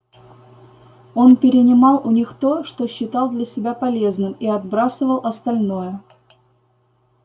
он перенимал у них то что считал для себя полезным и отбрасывал остальное